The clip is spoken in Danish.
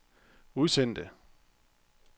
udsendte